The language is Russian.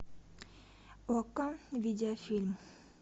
окко видеофильм